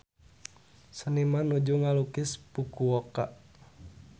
Seniman nuju ngalukis Fukuoka